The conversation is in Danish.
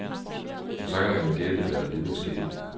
Og så kan man jo gætte, hvad der videre skete.